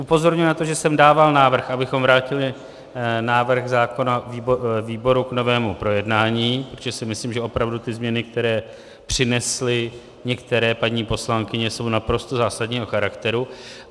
Upozorňuji na to, že jsem dával návrh, abychom vrátili návrh zákona výboru k novému projednání, protože si myslím, že opravdu ty změny, které přinesly některé paní poslankyně, jsou naprosto zásadního charakteru.